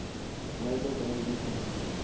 labor day weekend